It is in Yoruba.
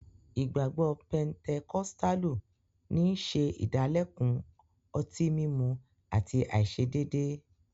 Ìgbagbọ Pẹntẹkọ̀stàlù ní n ṣẹ̀ ìdálẹ̀kun ọ̀tíìmúmú àti aiṣedeede.